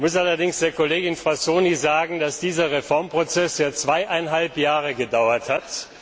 Ich muss allerdings der Kollegin Frassoni sagen, dass dieser Reformprozess jetzt zweieinhalb Jahre gedauert hat.